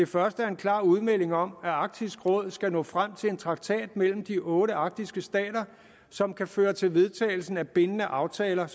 første er en klar udmelding om at arktisk råd skal nå frem til en traktat mellem de otte arktiske stater som kan føre til vedtagelse af bindende aftaler